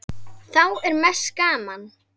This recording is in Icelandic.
Þá er mest gaman.